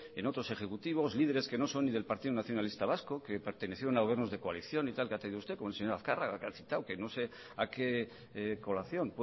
en otros ejecutivos líderes que no son ni del partido nacionalista vasco que pertenecieron a gobiernos de coalición como hace usted con el señor azkarraga que ha citado que no sé a qué colación